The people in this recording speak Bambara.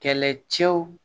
Kɛlɛcɛw